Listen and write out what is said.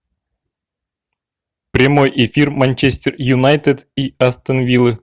прямой эфир манчестер юнайтед и астон виллы